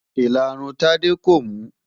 Ìlarun Tádé kò mú.